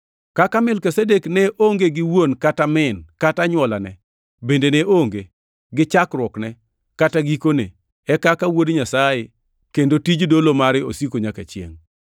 Kaka Melkizedek ne onge gi wuon kata min kata anywolane bende ne oonge gi chakruokne kata gikone, En kaka Wuod Nyasaye, kendo tij dolo mare osiko nyaka chiengʼ.